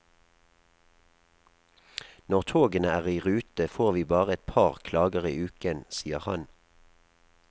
Når togene er i rute, får vi bare et par klager i uken, sier han.